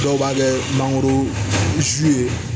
Dɔw b'a kɛ mangoro sun ye